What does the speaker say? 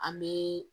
An bɛ